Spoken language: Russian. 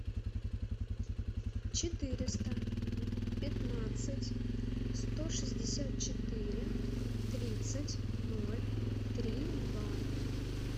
четыреста пятнадцать сто шестьдесят четыре тридцать ноль три два